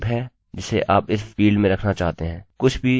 कुछ भी जो इसमें होगा इस डेटाटाइप में जोड़ना अनिवार्य है